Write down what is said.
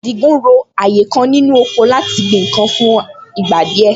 Àdìgún ro ààyè kan nínú oko láti gbin nǹkan fún ìgbà díẹ̀